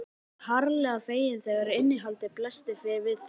Edda varð harla fegin þegar innihaldið blasti við þeim.